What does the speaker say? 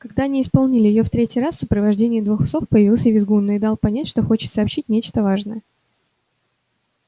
когда они исполнили её в третий раз в сопровождении двух псов появился визгун и дал понять что хочет сообщить нечто важное